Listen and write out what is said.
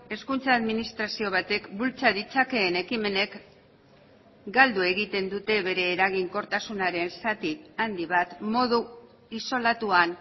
hezkuntza administrazio batek bultza ditzakeen ekimenek galdu egiten dute bere eraginkortasunaren zati handi bat modu isolatuan